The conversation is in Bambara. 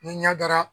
Ni ɲa dara